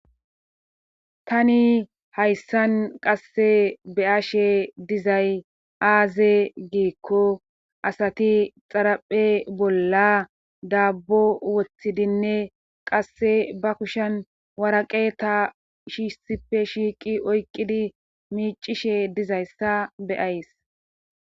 Tani hayssan qasse beyashe dizay aaze giikko asati xaraphe bolla daabbo woththidinne qasse ba kushen waraqeta shiishtippe shiiqi oyqqidi miicishe dizayssa beyays